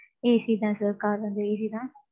AC தான் sir car வந்து AC தான்.